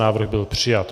Návrh byl přijat.